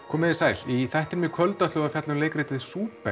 komið þið sæl í þættinum í kvöld ætlum við að fjalla um leikritið